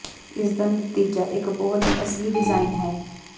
ਇਸ ਦਾ ਨਤੀਜਾ ਇੱਕ ਬਹੁਤ ਹੀ ਅਸਲੀ ਡਿਜ਼ਾਇਨ ਹੈ